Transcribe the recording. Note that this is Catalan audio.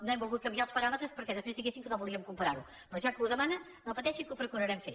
no hem volgut canviar els paràmetres perquè després diguessin que no volíem comparar ho però ja que ho demana no pateixi que ho procurarem fer